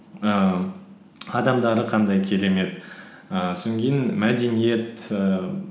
ііі адамдары қандай керемет ііі мәдениет ііі